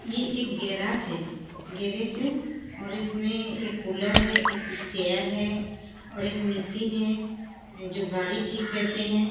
ये एक गेराज है गैरेज है और इसमें एक कूलर है एक चेयर है और एक मिशीन है जो गाड़ी ठीक करते है।